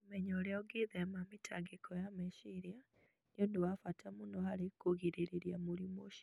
Kũmenya ũrĩa ũngĩĩthema mĩtangĩko ya meciria nĩ ũndũ wa bata mũno harĩ kũgirĩrĩria mũrimũ ũcio.